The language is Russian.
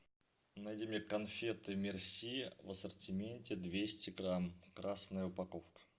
найди мне конфеты мерси в ассортименте двести грамм красная упаковка